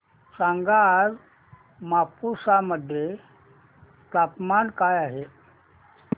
सांगा आज मापुसा मध्ये तापमान काय आहे